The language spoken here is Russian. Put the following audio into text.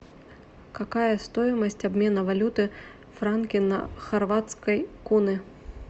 какая стоимость обмена валюты франки на хорватской куны